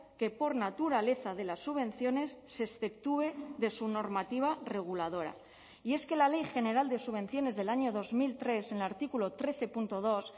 que por naturaleza de las subvenciones se exceptúe de su normativa reguladora y es que la ley general de subvenciones del año dos mil tres en el artículo trece punto dos